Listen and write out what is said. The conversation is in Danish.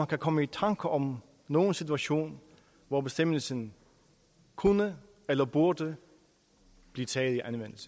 kan komme i tanker om nogen situation hvor bestemmelsen kunne eller burde blive taget